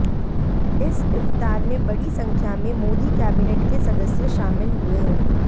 इस इफ्तार मे बड़ी संख्या मे मोदी कैबिनेट के सदस्य शामिल हुए